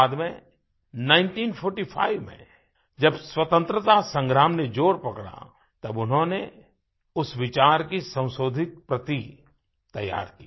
बाद में 1945 में जब स्वतंत्रता संग्राम ने जोर पकड़ा तब उन्होंने उस विचार की संशोधित प्रति तैयार की